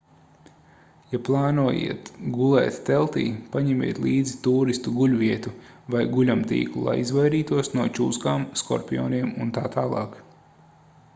ja plānojat gulēt teltī paņemiet līdzi tūristu guļvietu vai guļamtīklu lai izvairītos no čūskām skorpioniem utt